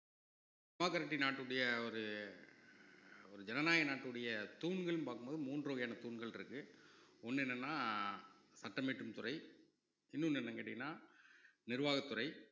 democracy நாட்டுடைய ஒரு ஒரு ஜனநாயக நாட்டுடைய தூண்கள்னு பார்க்கும் போது மூன்று வகையான தூண்கள் இருக்கு ஒண்ணு என்னன்னா சட்டம் இயற்றும் துறை இன்னொன்னு என்னன்னு கேட்டீங்கன்னா நிர்வாகத்துறை